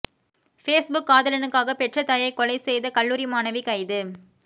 Facebook காதலனுக்காக பெற்ற தாயை கொலை செய்த கல்லூரி மாணவி கைது